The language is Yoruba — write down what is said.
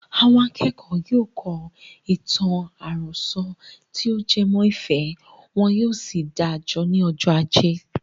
Àwọn akẹ́kọ̀ọ́ yóò kọ ìtàn àròsọ tí o jẹ mọ́ ìfẹ́, wọn yóò sì dáa jọ ní ọjọ́ ajé.